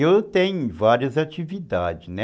Eu tenho várias atividades, né?